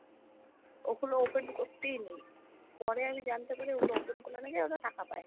ওগুলো open করতেই নেই, পরে আমি জানতে পারি ওগুলো open করলে নাকি ওরা টাকা পায়।